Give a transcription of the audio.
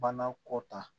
Bana kɔ ta